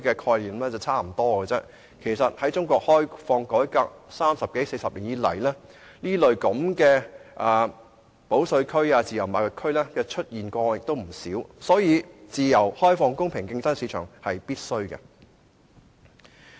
事實上，在中國開放改革三十多四十年以來，也曾出現不少保稅區或自由貿易區，故"自由開放、容許公平競爭的市場"是必需的。